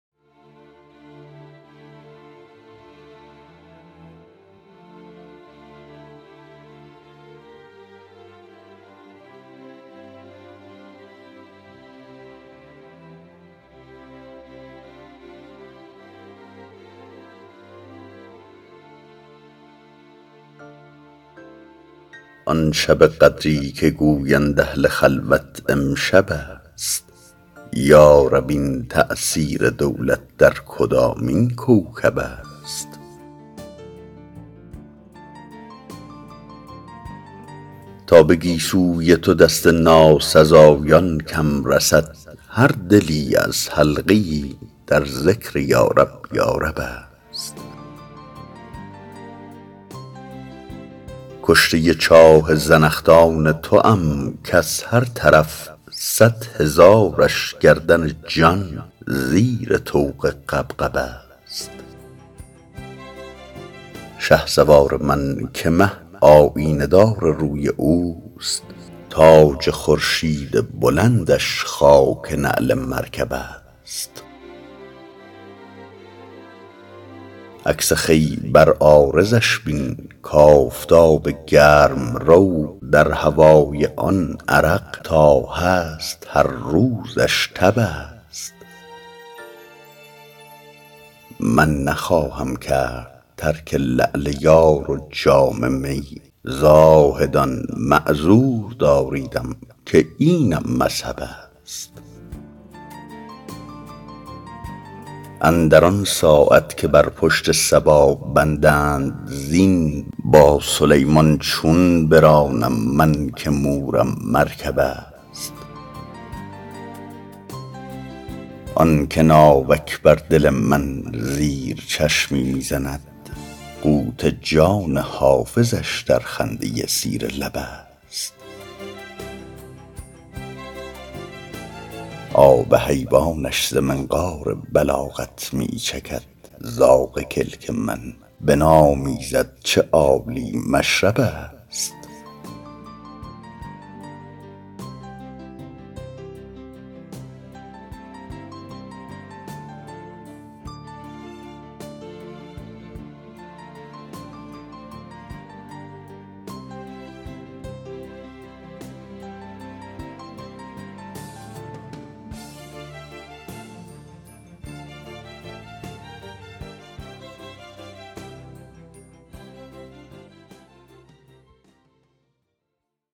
آن شب قدری که گویند اهل خلوت امشب است یا رب این تأثیر دولت در کدامین کوکب است تا به گیسوی تو دست ناسزایان کم رسد هر دلی از حلقه ای در ذکر یارب یارب است کشته چاه زنخدان توام کز هر طرف صد هزارش گردن جان زیر طوق غبغب است شهسوار من که مه آیینه دار روی اوست تاج خورشید بلندش خاک نعل مرکب است عکس خوی بر عارضش بین کآفتاب گرم رو در هوای آن عرق تا هست هر روزش تب است من نخواهم کرد ترک لعل یار و جام می زاهدان معذور داریدم که اینم مذهب است اندر آن ساعت که بر پشت صبا بندند زین با سلیمان چون برانم من که مورم مرکب است آن که ناوک بر دل من زیر چشمی می زند قوت جان حافظش در خنده زیر لب است آب حیوانش ز منقار بلاغت می چکد زاغ کلک من بنامیزد چه عالی مشرب است